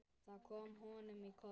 Það kom honum í koll.